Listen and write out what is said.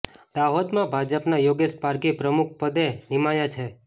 દાહાેદમાં ભાજપના યોગેશ પારઘી પ્રમુખ પદે નિમાયા છે